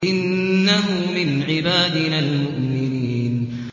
إِنَّهُ مِنْ عِبَادِنَا الْمُؤْمِنِينَ